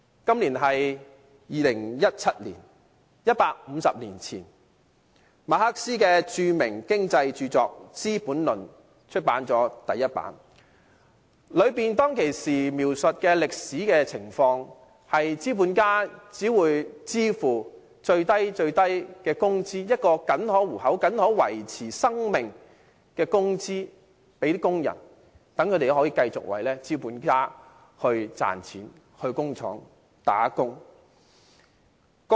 今年是2017年 ，150 年前，馬克思的著名經濟著作《資本論》首次出版，當中描述的歷史情況，是資本家只會向工人支付僅可糊口、僅可維持生命的最低工資，令他們到工廠打工，繼續為資本家賺錢。